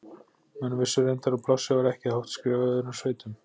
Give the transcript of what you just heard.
Menn vissu reyndar að plássið var ekki hátt skrifað í öðrum sveitum.